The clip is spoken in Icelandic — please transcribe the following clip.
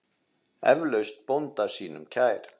Eflaust bónda sínum kær.